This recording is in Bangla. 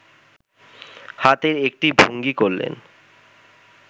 হাতের একটা ভঙ্গি করলেন